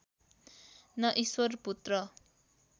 न ईश्वरपुत्र